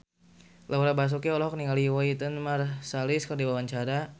Laura Basuki olohok ningali Wynton Marsalis keur diwawancara